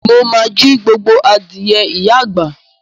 Mo ma jí gbogbo adìẹ ìyá àgbà.